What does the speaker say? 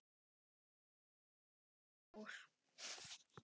Lárus fór.